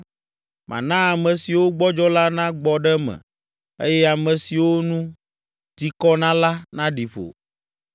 Mana ame siwo gbɔdzɔ la nagbɔ ɖe me eye ame siwo nu ti kɔ na la naɖi ƒo.”